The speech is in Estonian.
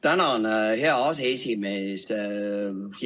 Tänan, hea aseesimees!